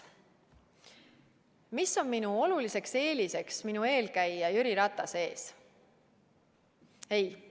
Mis on minu oluline eelis mu eelkäija Jüri Ratase ees?